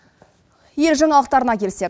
ел жаңалықтарына келсек